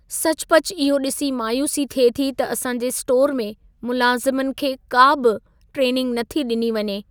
सचुपचु इहो ॾिसी मायूसी थिए थी त असांजे स्टोरु में मुलाज़मनि खे का बि ट्रेनिंग नथी ॾिनी वञे।